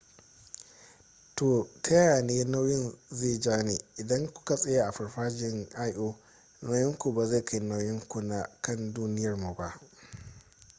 ta yaya ne nauyin lo zai ja ni idan ku ka tsaya a farfajiyan io nauyin ku ba zai kai nauyin ku na kan duniyarmu ba